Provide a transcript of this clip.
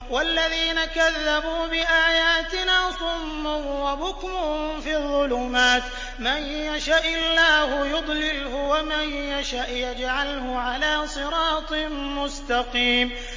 وَالَّذِينَ كَذَّبُوا بِآيَاتِنَا صُمٌّ وَبُكْمٌ فِي الظُّلُمَاتِ ۗ مَن يَشَإِ اللَّهُ يُضْلِلْهُ وَمَن يَشَأْ يَجْعَلْهُ عَلَىٰ صِرَاطٍ مُّسْتَقِيمٍ